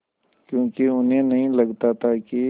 क्योंकि उन्हें नहीं लगता था कि